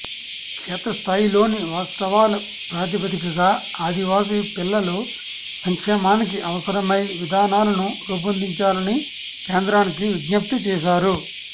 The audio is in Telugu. క్షేత్రస్థాయిలోని వాస్తవాల ప్రాతిపదికగా ఆదివాసి పిలల్ల సంక్షేమానికి అవసరమై విధానాలను రూపొందించాలని కేంద్రానికి విజ్ఞప్తి చేశారు